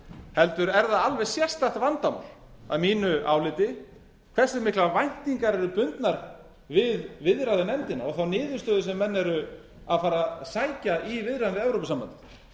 heldur er það alveg sérstakt vandamál að mínu áliti hversu miklar væntingar eru bundnar við viðræðunefndina og þá niðurstöðu sem menn eru að fara að sækja í viðræðum við evrópusambandið